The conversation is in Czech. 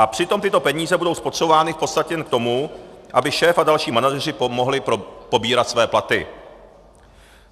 A přitom tyto peníze budou spotřebovány v podstatě jen k tomu, aby šéf a další manažeři mohli pobírat své platy.